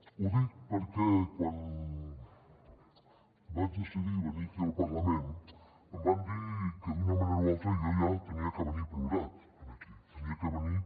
ho dic perquè quan vaig decidir venir aquí al parlament em van dir que d’una manera o altra jo ja havia de venir plorat aquí havia de venir